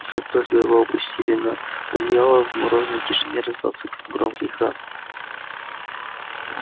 и как только его опустили на одеяло в морозной тишине раздался громкий храп